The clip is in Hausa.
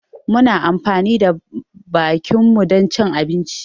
Muna amfani da bakinmu dan cin abinci